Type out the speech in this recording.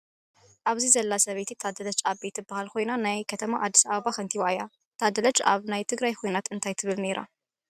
ኣብዙይ ዘላ ሰበይቲ ታደረች ኣቤ ትበሃል ኮይና ናይ ከተማ ኣዲስ ኣበባ ከቲባ እያ። ታደለች ኣብ ናይ ትግራይ ኩናት እንታይ ትብል ነይራ?